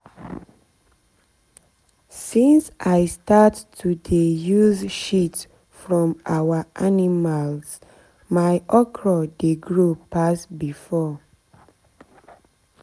since i start to dey use shit from our animals my okra dey grow pass before.